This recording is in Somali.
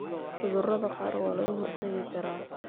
Cudurada qaar waa laga hortagi karaa.